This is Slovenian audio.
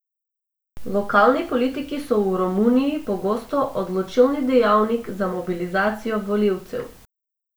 Lokalni politiki so v Romuniji pogosto odločilni dejavnik za mobilizacijo volivcev.